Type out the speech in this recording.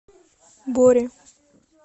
боре